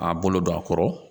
A bolo don a kɔrɔ